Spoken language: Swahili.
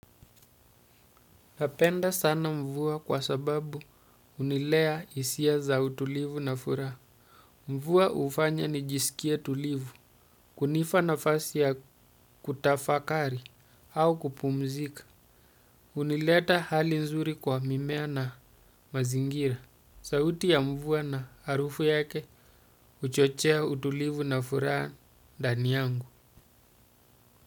Napenda sana mvua kwa sababu hunilea hisia za utulivu na furaha. Mvua hufanya nijisikie tulivu, kunipa nafasi ya kutafakari au kupumzika. Unileta hali nzuri kwa mimea na mazingira. Sauti ya mvua na harufu yake huchochea utulivu na furaha ndani yangu.